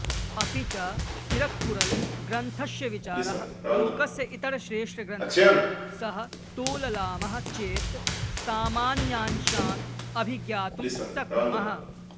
अपि च तिरुक्कुरळ् ग्रन्थस्य विचाराः लोकस्य इतरश्रेष्ठग्रन्थैः सह तोललामः चेत् सामान्यांशान् अभिज्ञातुं शक्नुमः